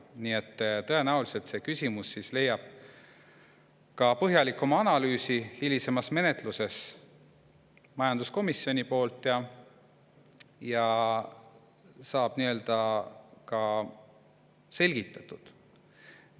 Nii et tõenäoliselt saab see küsimus hilisemas menetluses põhjalikuma majanduskomisjoni analüüsi, ja saab ka selgitatud.